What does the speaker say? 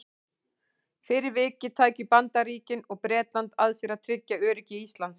Fyrir vikið tækju Bandaríkin og Bretland að sér að tryggja öryggi Íslands.